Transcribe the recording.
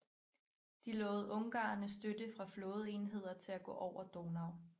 De lovede ungarerne støtte fra flådeenheder til at gå over Donau